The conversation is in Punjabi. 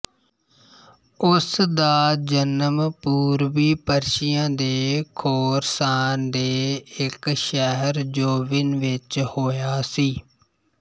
ਉਸ ਦਾ ਜਨਮ ਪੂਰਬੀ ਪਰਸ਼ੀਆ ਦੇ ਖੋਰਸਾਨ ਦੇ ਇੱਕ ਸ਼ਹਿਰ ਜੋਵਿਨ ਵਿੱਚ ਹੋਇਆ ਸੀ